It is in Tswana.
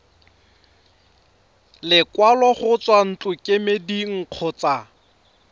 lekwalo go tswa ntlokemeding kgotsa